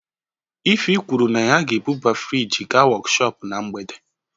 Ify kwuru na ya ga-ebuba friji gaa workhop na mgbede